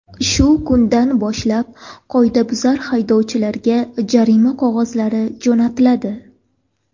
Shu kundan boshlab qoidabuzar haydovchilarga jarima qog‘ozlari jo‘natiladi.